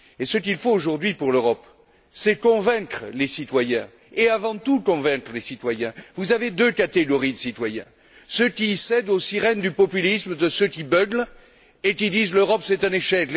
Et ce qu'il faut aujourd'hui pour l'Europe, c'est convaincre les citoyens, et avant tout convaincre les citoyens. Vous avez deux catégories de citoyens ceux qui cèdent aux sirènes du populisme de ceux qui beuglent et qui disent L'Europe, c'est un échec